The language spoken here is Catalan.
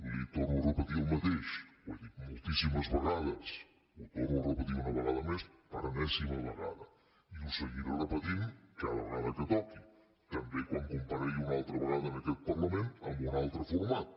li torno a repetir el mateix ho he dit moltíssimes vegades ho torno a repetir una ve·gada més per enèsima vegada i ho seguiré repetint cada vegada que toqui també quan comparegui una altra vegada en aquest parlament amb un altre for·mat